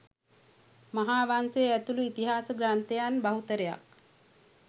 මහා වංශය ඇතුලු ඉතිහාස ග්‍රන්ථයන් බහුතරයක්